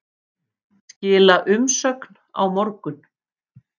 Skila umsögn á morgun